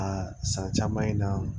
A san caman in na